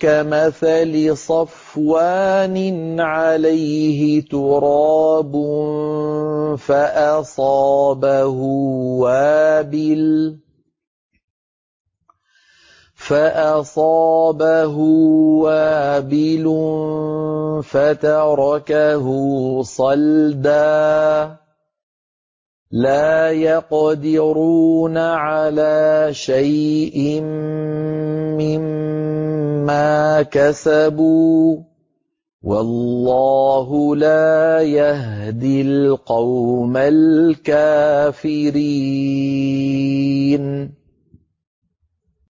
كَمَثَلِ صَفْوَانٍ عَلَيْهِ تُرَابٌ فَأَصَابَهُ وَابِلٌ فَتَرَكَهُ صَلْدًا ۖ لَّا يَقْدِرُونَ عَلَىٰ شَيْءٍ مِّمَّا كَسَبُوا ۗ وَاللَّهُ لَا يَهْدِي الْقَوْمَ الْكَافِرِينَ